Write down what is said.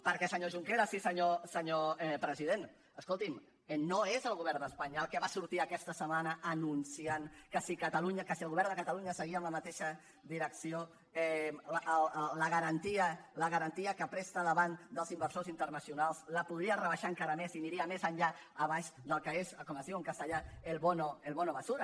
perquè senyor junqueras i senyor president escoltin no és el govern d’espanya el que va sortir aquesta setmana anunciant que si catalunya que si el govern de catalunya seguia amb la mateixa direcció la garantia que presta davant dels inversors internacionals la podria rebaixar encara més i aniria més enllà per sota del que és com es diu en castellà el bono basura